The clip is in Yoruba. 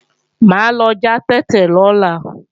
Mà á lọ já tètè lọ́la